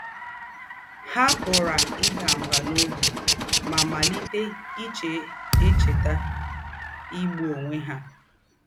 “Há pụ̀rà ìdà mbà n’ọ́bì mà màlítè íchè̄ èchètà ígbụ̀ ónwẹ̀ há.”